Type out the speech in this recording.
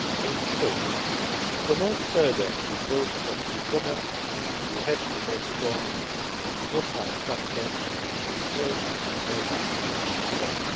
In short, to further promote the growth of e commerce, we have to make sure that the off line structure on which it is built works at its